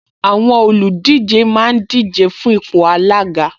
Àwọn olùdíje máa ń díje fún ipò alága